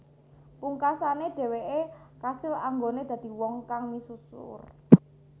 Pungkasane dheweke kasil anggone dadi wong kang misuwur